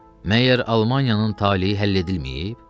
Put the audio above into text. Məgər Almaniyanın taleyi həll edilməyib?